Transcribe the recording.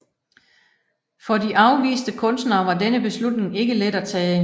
For de afviste kunstnere var denne beslutning ikke let at tage